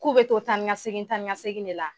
K'u bɛ to taa ni ŋa segin taa ni ŋa segin de la